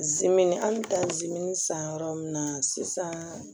Zimini hali taa zimini san yɔrɔ min na sisan